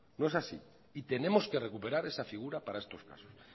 no es así y tenemos que recuperar esa figura para estos casos